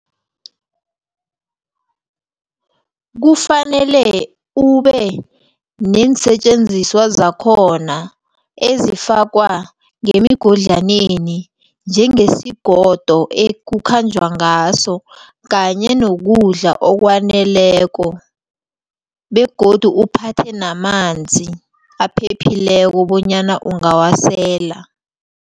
Kufanele ubeneensetjenziswa zakhona ezifakwa ngemigodlaneni njengesigodu ekukhanjwa ngaso kanye nokudla okwaneleko begodu uphathe namanzi aphephileko bonyana ungawasela.